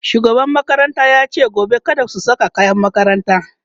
shugaban makaranta yace gobe kada su Saka kayan makaranta